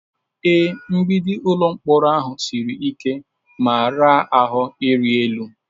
Ee, mgbidi ụlọ mkpọrọ ahụ siri ike ma raa ahụ ịrị elu.